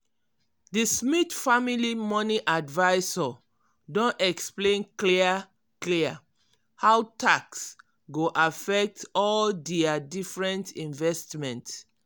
di smith family money advisor don explain clear-clear how tax go affect all dia different investment.